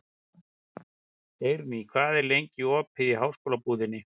Eirný, hvað er lengi opið í Háskólabúðinni?